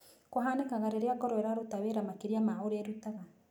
Kũhanĩkaga rĩrĩa ngoro ĩrarũta wĩra makĩrĩa ma ũrĩa ĩrutaga.